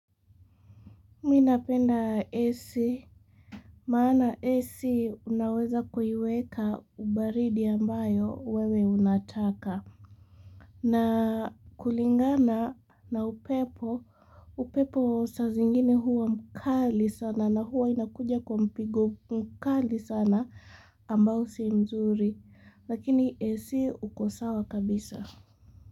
Mi napenda AC, maana AC unaweza kuiweka ubaridi ambayo wewe unataka. Na kulingana na upepo, upepo saa zingine huwa mkali sana na huwa inakuja kwa mpigo mkali sana ambao si mzuri. Lakini AC uko sawa kabisa.